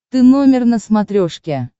ты номер на смотрешке